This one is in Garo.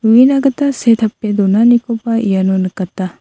uina gita see tape donanikoba iano nikata.